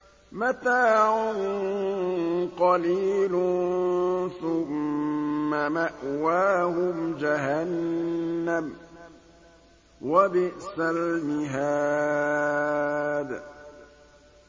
مَتَاعٌ قَلِيلٌ ثُمَّ مَأْوَاهُمْ جَهَنَّمُ ۚ وَبِئْسَ الْمِهَادُ